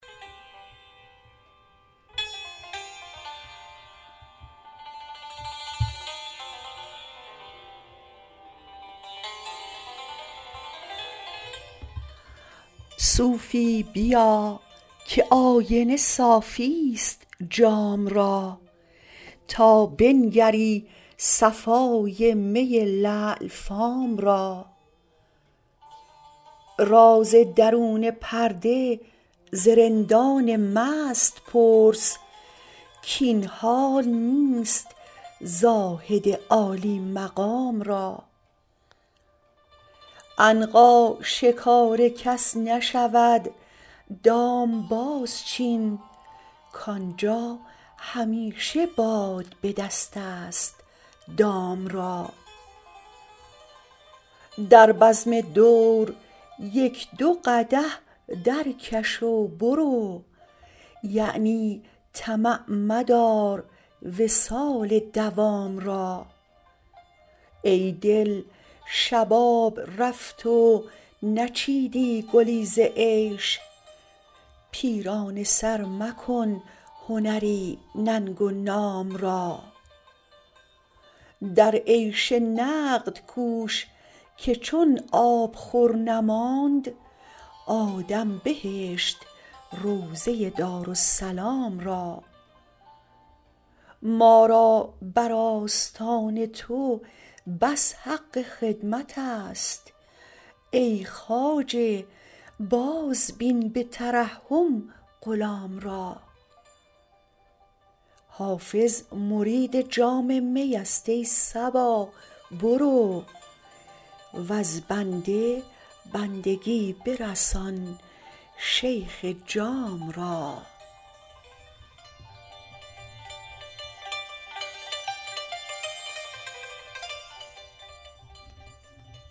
صوفی بیا که آینه صافی ست جام را تا بنگری صفای می لعل فام را راز درون پرده ز رندان مست پرس کاین حال نیست زاهد عالی مقام را عنقا شکار کس نشود دام بازچین کآنجا همیشه باد به دست است دام را در بزم دور یک دو قدح درکش و برو یعنی طمع مدار وصال مدام را ای دل شباب رفت و نچیدی گلی ز عیش پیرانه سر مکن هنری ننگ و نام را در عیش نقد کوش که چون آبخور نماند آدم بهشت روضه دارالسلام را ما را بر آستان تو بس حق خدمت است ای خواجه بازبین به ترحم غلام را حافظ مرید جام می است ای صبا برو وز بنده بندگی برسان شیخ جام را